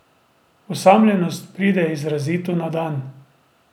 Osamljenost pride izrazito na dan.